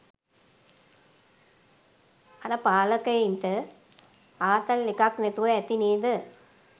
අර පාලකයින්ට ආතල් එකක් නැතුව ඇති නේද​?